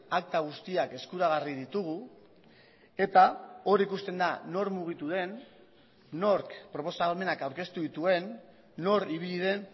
akta guztiak eskuragarri ditugu eta hor ikusten da nor mugitu den nork proposamenak aurkeztu dituen nor ibili den